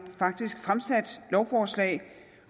faktisk fremsat lovforslag